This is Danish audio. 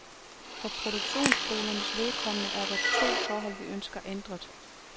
For produktionsskolernes vedkommende er der to forhold, vi ønsker ændret.